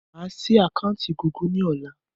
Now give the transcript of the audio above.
Máa sì àkántì Gúgù ni ọ̀la.